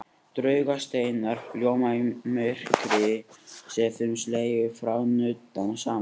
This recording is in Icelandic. Draugasteinar ljóma í myrkri sé þeim slegið eða nuddað saman.